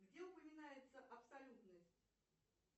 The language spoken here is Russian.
где упоминается абсолютность